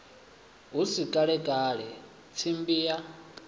hu si kalekale tsimbi ya